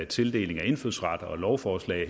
tildeling af indfødsret og et lovforslag